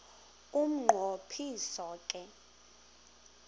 umnqo phiso ke